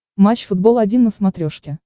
матч футбол один на смотрешке